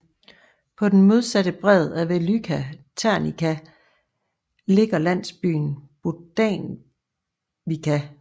På den modsatte bred af Velyka Ternivka ligger landsbyen Bohdaniwka